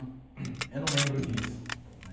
Eu não lembro disso, né?